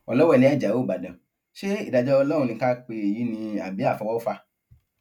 ọlọwẹlẹ ajáò ìbàdàn ṣe ìdájọ ọlọrun ni ká pe èyí ni àbí àfọwọfà